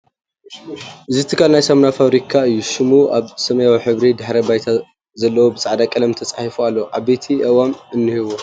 እዚ ትካል ናይ ሳሙና ፋብሪካ እዩ ሹሙ ኣብ ሰማያዊ ሕብሪ ድሕረባይታ ዘለዎ ብፃዕዳ ቐለም ተፃሒፉ ኣሎ ዓበይቲ ኣእዋም'ውን እንሀዎ ።